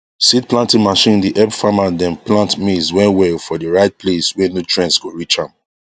seed planting machine dey help famer dem plant maize well well for the right place wey nutrients go reach am